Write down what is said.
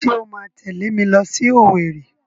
Ṣé o máa tẹ̀lé mi lọ sí Owerri?